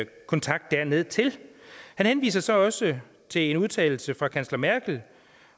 kontakt dernedtil han henviser så også til en udtalelse fra kansler merkel